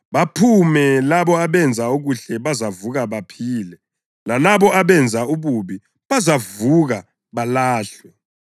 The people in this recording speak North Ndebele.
baphume, labo abenze okuhle bazavuka baphile, lalabo abenze ububi bazavuka balahlwe.